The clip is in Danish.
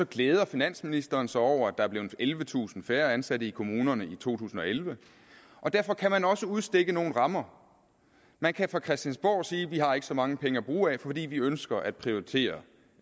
glæder finansministeren sig over at der er blevet ellevetusind færre ansatte i kommunerne i to tusind og elleve derfor kan man også udstikke nogle rammer man kan fra christiansborg sige vi har ikke så mange penge at bruge af fordi vi ønsker at prioritere